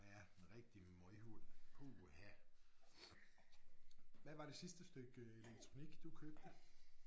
Ja en rigtig møghund puha. Hvad var det sidste stykke elektronik du købte?